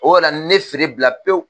O yɛrɛ la ne feere bila pewu